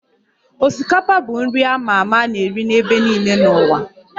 Osikapa bụ nri a ma ama a na-eri n'ebe niile n'ụwa